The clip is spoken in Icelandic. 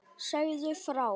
Segðu frá.